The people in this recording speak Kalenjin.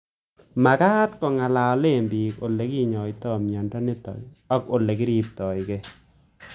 Mag'at ko ng'alale piik ole kinyoitoi miondo nitok ak ole kiripekei